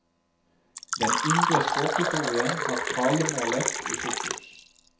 Den indre språkhistorien har talemålet i fokus.